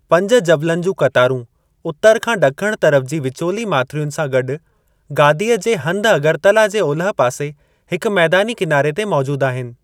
पंज जबलनि जूं क़तारूं उतर खां ॾखण तरफ़ जी विचोली माथिरियुनि सां गॾु, गादीअ जे हंधु अगरतला जे ओलहि पासे हिक मैदानी किनारे ते मौजूद आहिनि।